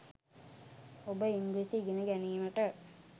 ඔබ ඉංග්‍රීසි ඉගෙන ගැනීමට